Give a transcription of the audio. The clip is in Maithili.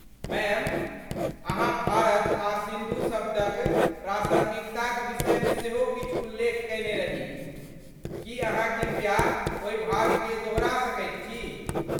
मैम, अहाँ भारत आ सिन्धु शब्दक प्रासङ्गिकताक विषयमे सेहो किछु उल्लेख कयने रही, की अहाँ कृपया ओहि भागकेँ दोहरा सकैत छी?